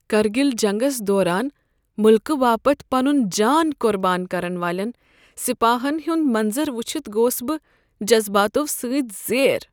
کرگل جنگس دوران مٕلکہٕ باپت پنُن جان قربان کرن والین سپاہن ہنٛدِ منظر وٕچھتھ گوس بہٕ جذباتو سٕتۍ زیر۔